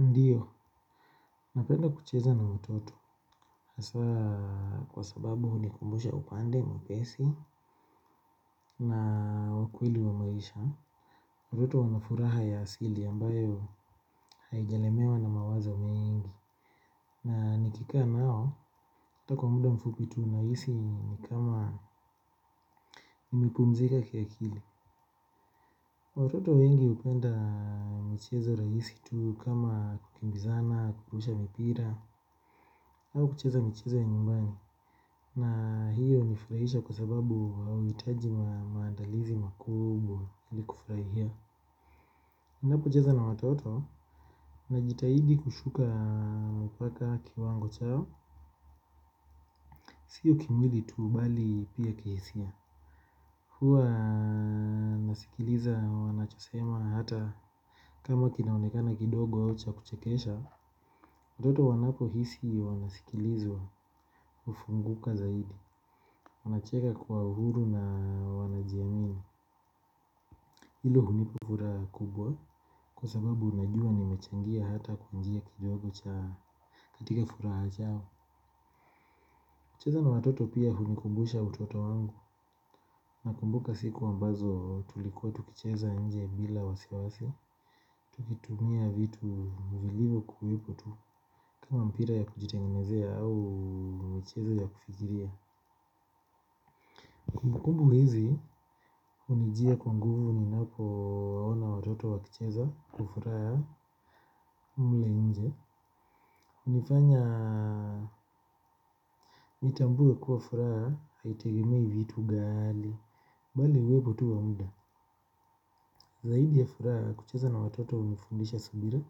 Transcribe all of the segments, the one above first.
Ndio, napenda kucheza na watoto. Hasa kwa sababu hunikumbusha upande, mwepesi na wa kewili wa maisha. Watoto wanafuraha ya asili ambayo haijalemewa na mawazo mengi. Na nikika nao, hata kwa muda mfupi tu nahisi ni kama nimepumzika kiakili. Watoto wengi hupenda mchezo rahisi tu kama kukimbizana, kurusha mipira au kucheza michezo ya nyumbani na hiyo hunifurahisha kwa sababu hau hitaji maandalizi makubwa ili kufurahia ninapo cheza na watoto najitahidi kushuka mpaka kiwango chao sio kimwili tu bali pia kihisia huwa nasikiliza wanachosema hata kama kinaonekana kidogo au cha kuchekesha watoto wanapohisi wanasikilizwa hufunguka zaidi. Wanacheka kwa uhuru na wanajiamini. Hilo hunipa furaha kubwa. Kwa sababu najua nimechangia hata kujia kijogo cha katika furaha chao. Kucheza na watoto pia hunikumbusha utoto wangu. Nakumbuka siku ambazo tulikuwa tukicheza nje bila wasiwasi. Tukitumia vitu vilivyokuwepo tu. Kama mpira ya kujitengenezea au michezo ya kufikiria kumbukumbu hizi hunijia kwa nguvu ninapowaona watoto wakicheza. Kwa furaha mle nje hUnifanya nitambue kuwa furaha haitegemei vitu ghali bali uwepo tu wa muda. Zaidi ya furaha kucheza na watoto hunifundisha subira.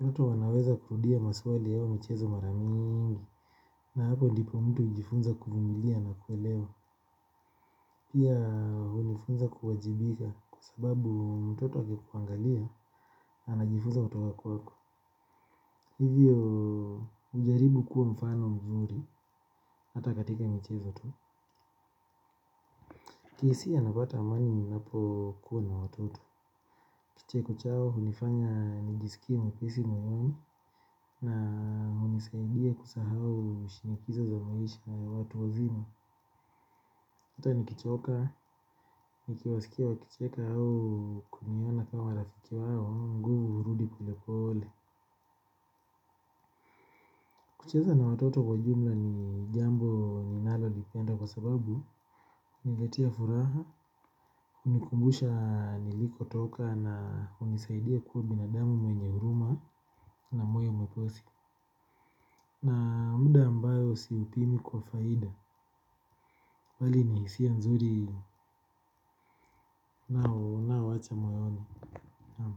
Watoto wanaweza kurudia maswali au michezo mara mingi. Na hapo ndipo mtu hujifunza kuvumilia. Na kuelewa. Pia hunifunza kuwajibika. Kwa sababu mtoto akikuangalia anajifunza kutoka kwako. Hivyo hujaribu kuwa mfano mzuri. Hata katika michezo tu. Kihisia napata amani ninapokuwa na watoto. Kicheko chao, hunifanya nijisikie mwepesi mwenyewe. Na hunisaidia kusahau shinikizo za maisha ya watu wazima hata nikichoka, nikiwasikia wakicheka au kuniona kama rafiki wao, nguvu hurudi polepole. Kucheza na watoto kwa jumla ni jambo ninalolipenda kwa sababu huniletia furaha, hunikumbusha nilikotoka na hunisaidia kuwa binadamu mwenye huruma na moyo mwepesi na muda ambayo siupimi kwa faida bali ni hisia nzuri nao naowacha moyoni naam.